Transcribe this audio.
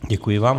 Děkuji vám.